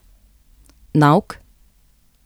Nauk?